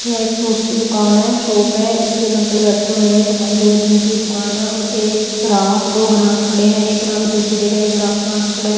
यह एक फ्रूट्स की दुकान है शॉप है इस पे एक अंकल बैठे हुए हैं दुकान जो जिनकी दुकान है और एक गराह दो ग्राहक खड़े हैं एक ग्राहक दूर से देख रहा है ग्राहक पास खड़ा है।